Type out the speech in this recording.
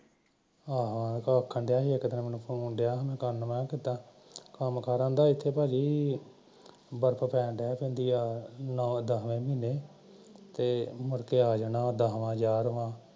ਹਾਂ ਮੈਂ ਆਖਣ ਰਿਹਾ ਹੀ ਮੈਂ ਫੋਨ ਰਹਾ ਹੀ ਕਰਨ ਕੀਤਾ ਮੈਂ ਕਿਹਾ ਕਿੱਦਾ ਕਹਿੰਦਾ ਬਰਫ ਪੈਂਣ ਲਗ ਪੈਂਦੀ ਆ ਨੋਂ ਦਸਵੇ ਮਹੀਨੇ ਤੇ ਮੁੜ ਕੇ ਆ ਜਾਂਦਾ ਦਸਵਾ ਗਿਆਰਾਵਾ